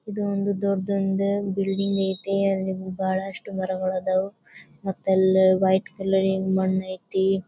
ಇದ ಒಂದ್ ಡೊದ್ದೊಂದ ಬಿಲ್ಡಿಂಗ್ ಐತಿ. ಅಲ್ಲಿ ಬಹಳಷ್ಟು ಮರಗಳ ಅದಾವು. ಮತ್ತ ಅಲ್ ವೈಟ್ ಕಲರ್ ಇನ್ ಮಣ್ಣ್ ಐತಿ.